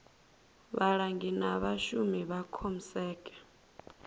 vhalangi na vhashumi vha comsec